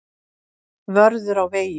Vörður á vegi.